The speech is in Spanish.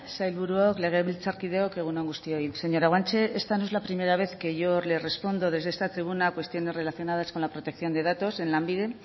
sailburuok legebiltzarkideok egun on guztioi señora guanche esta no es la primera vez que yo le respondo desde esta tribuna a cuestiones relacionadas con la protección de datos en lanbide